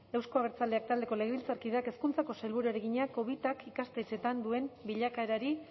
euzko abertzaleak taldeko legebiltzarkideak hezkuntzako sailburuari egina covidak ikastetxeetan duen bilakaerari